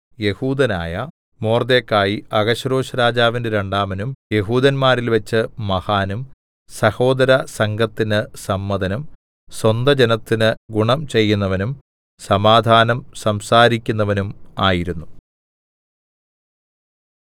യെഹൂദനായ Mordecai അഹശ്വേരോശ്‌രാജാവിന്റെ രണ്ടാമനും യെഹൂദന്മാരിൽവെച്ച് മഹാനും സഹോദരസംഘത്തിന് സമ്മതനും സ്വന്തജനത്തിന് ഗുണം ചെയ്യുന്നവനും സമാധാനം സംസാരിക്കുന്നവനും ആയിരുന്നു